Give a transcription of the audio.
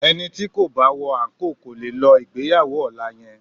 Ẹni tí kò bá wọ àńkò kò lè lọ ìgbéyàwó ọ̀la yẹn